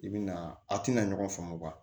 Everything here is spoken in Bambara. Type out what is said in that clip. I bi na a tɛna ɲɔgɔn faamu wa